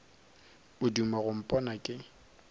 o duma go mpona ke